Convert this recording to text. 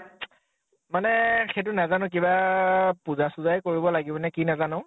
মানে সেইটো নাজানো কিবা আ, পুজা সুজা য়ে কৰিব লাগিব কি নাজানো